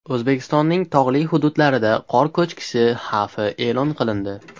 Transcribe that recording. O‘zbekistonning tog‘li hududlarida qor ko‘chkisi xavfi e’lon qilindi.